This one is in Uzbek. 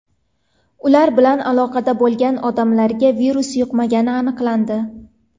Ular bilan aloqada bo‘lgan odamlarga virus yuqmagani aniqlandi.